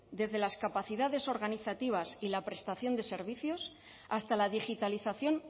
desde las capacidades organizativas y la prestación de servicios hasta la digitalización